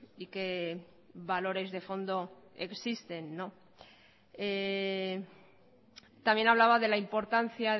y qué valores de fondo existen no también hablaba de la importancia